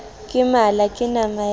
ke mala ke nama ya